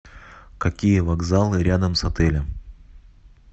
какие вокзалы рядом с отелем